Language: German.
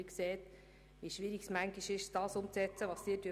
Sie sehen, wie schwierig es zuweilen ist, Ihre Forderungen umzusetzen.